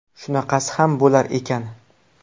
Shunaqasi ham bo‘lar ekan.